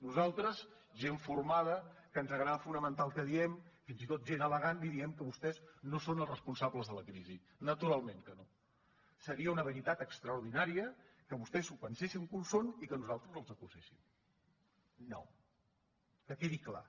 nosaltres gent formada que ens agrada fonamentar el que diem fins i tot gent elegant diríem que vostès no són els responsables de la crisi naturalment que no seria una veritat extraordinària que vostès s’ho pensessin que ho són i que nosaltres els acuséssim no que quedi clar